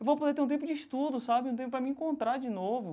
Eu vou poder ter um tempo de estudo sabe, um tempo para me encontrar de novo.